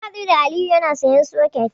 Mun haɗu da Aliyu yana sayen soket.